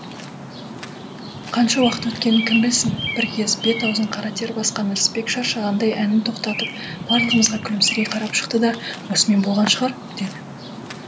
қанша уақыт өткенін кім білсін бір кез бет аузын қара тер басқан ырысбек шаршағандай әнін тоқтатып барлығымызға күлімсірей қарап шықты да осымен болған шығар деді